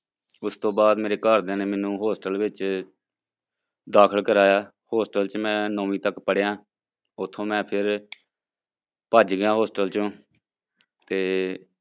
ਉਸ ਤੋਂ ਬਾਅਦ ਮੇਰੇ ਘਰਦਿਆਂ ਨੇ ਮੈਨੂੰ hostel ਵਿੱਚ ਦਾਖਲ ਕਰਵਾਇਆ hostel ਚ ਮੈਂ ਨੋਵੀਂ ਤੱਕ ਪੜ੍ਹਿਆ ਉੱਥੋਂ ਮੈਂ ਫਿਰ ਭੱਜ ਗਿਆ hostel ਚੋਂ ਤੇ